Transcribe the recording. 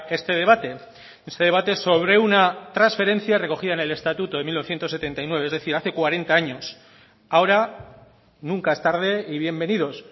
este debate este debate sobre una transferencia recogida en el estatuto de mil novecientos setenta y nueve es decir hace cuarenta años ahora nunca es tarde y bienvenidos